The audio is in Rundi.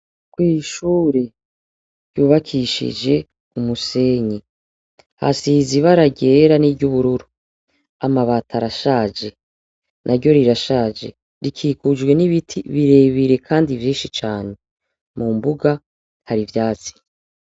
Kw'ishure ryubakishije umusenyi, hasize ibara ryera n'iry'ubururu. Amabati arashaje. Naryo rirashaje. Rikikujwe n'ibiti birebire kandi vyinshi cane. Mu mbuga, hari ivyatsi.